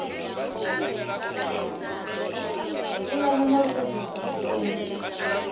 pulana na u sedzulusa mushumo